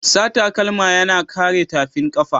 Sa takalma yana kare tafin kafa.